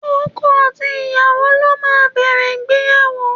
Ọkọ àti ìyàwó ló máa ń bẹ̀rẹ̀ ìgbéyàwó.